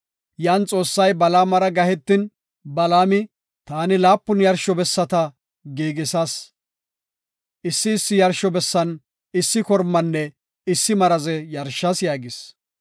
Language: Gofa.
Yan Xoossay Balaamara gahetin, Balaami, “Taani laapun yarsho bessata giigisas; issi issi yarsho bessan issi kormanne issi maraze yarshas” yaagis.